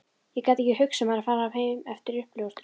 Ég gat ekki hugsað mér að fara heim eftir uppljóstrun